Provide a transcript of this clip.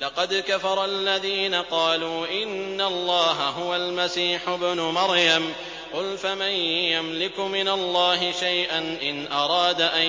لَّقَدْ كَفَرَ الَّذِينَ قَالُوا إِنَّ اللَّهَ هُوَ الْمَسِيحُ ابْنُ مَرْيَمَ ۚ قُلْ فَمَن يَمْلِكُ مِنَ اللَّهِ شَيْئًا إِنْ أَرَادَ أَن